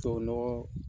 Tubabu nɔgɔ